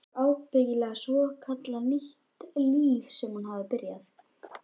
Það var ábyggilega svokallað nýtt líf sem hún hafði byrjað.